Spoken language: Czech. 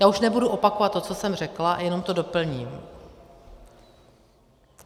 Já už nebudu opakovat to, co jsem řekla, jenom to doplním.